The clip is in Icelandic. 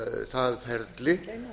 það ferli